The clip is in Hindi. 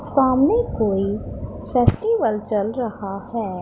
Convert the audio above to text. सामने कोई फेस्टिवल चल रहा है।